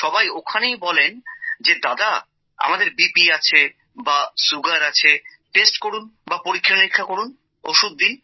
সবাই ওখানেই বলেন যে দাদা আমাদের বিপি আছে বা সুগার আছে টেস্ট করুন বা পরীক্ষা নিরীক্ষা করুন ওষুধ দিন